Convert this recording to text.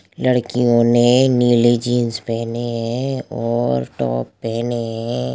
लड़कियों ने नीले जीन्स पेहनी है और टॉप पेहनी है।